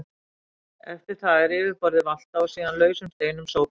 Eftir það er yfirborðið valtað og síðan lausum steinum sópað burt.